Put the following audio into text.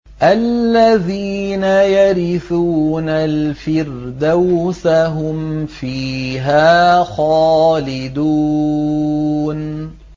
الَّذِينَ يَرِثُونَ الْفِرْدَوْسَ هُمْ فِيهَا خَالِدُونَ